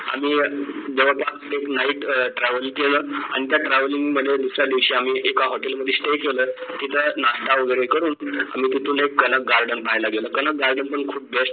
आणि जवळपास एक night अं travel केलं आणि त्या travelling मध्ये एका hotel मध्ये stay केलं तिथं नाष्टा वगैरे करून आम्ही तिथून एक कनक garden पाहायला गेलो कनक garden पण खूप